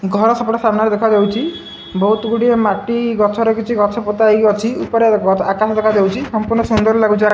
ଘର ସେପଟେ ସାମ୍ନାରେ ଦେଖାଯାଉଚି ବୋହୁତ ଗୁଡିଏ ମାଟି ଗଛ ରେ କିଛି ଗଛ ପୋତା ହେଇକି ଅଛି ଉପରେ ଆକାଶ ଦେଖାଯାଉଚି ସମ୍ପୂର୍ଣ ସୁନ୍ଦର ଲାଗୁଚି ଆ --